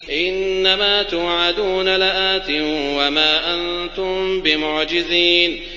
إِنَّ مَا تُوعَدُونَ لَآتٍ ۖ وَمَا أَنتُم بِمُعْجِزِينَ